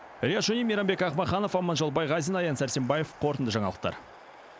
риат шони мейрамбек ақмаханов аманжол байғазин аян сәрсенбаев қорытынды жаңалықтар